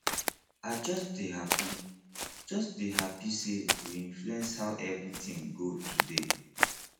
i just dey happy just dey happy say we influence how everything go today